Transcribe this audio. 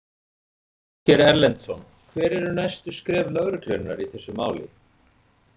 Ásgeir Erlendsson: Hver eru næstu skref lögreglunnar í þessu máli?